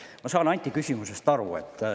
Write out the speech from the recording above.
Ma saan Anti küsimusest aru.